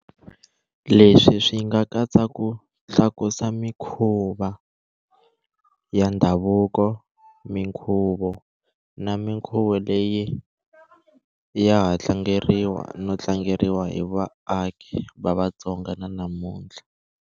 Leswi swi nga katsa ku tlakusa mikhuva ya ndhavuko, minkhuvo, na minkhuvo leyi ya ha tlangeriwa no tlangeriwa hi vaaki va Vatsonga na namuntlha.